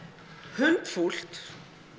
hundfúlt